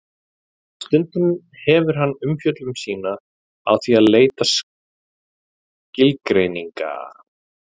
stundum hefur hann umfjöllun sína á því að leita skilgreininga